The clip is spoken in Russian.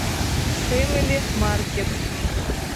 фэмили маркет